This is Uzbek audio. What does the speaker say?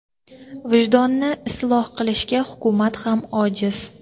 Vijdonni isloh qilishga hukumat ham ojiz.